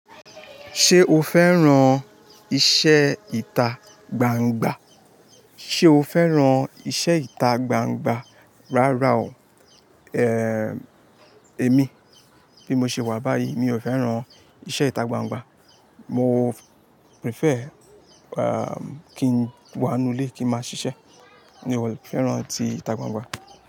Ṣé o fẹ́ran iṣẹ́ ìta gbangba? Ṣé o fẹ́ran iṣẹ́ ìta gbangba? Rárá o, eh, èmi bí mo ṣe wà báyìí mi ò fẹ́ran iṣẹ́ ìta gbangba. Mo prefer, ehm, kí n wà nú ilé kí ń máa ṣiṣẹ́. Mi ò fẹ́ran ti ìta gbangba.